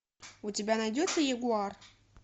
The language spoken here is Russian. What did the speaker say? у тебя найдется ягуар